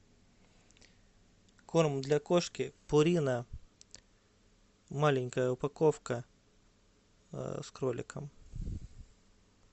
корм для кошки пурина маленькая упаковка с кроликом